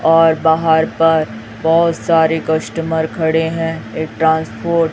और बाहर पर बहोत सारे कस्टमर खड़े हैं एक ट्रांसपोर्ट --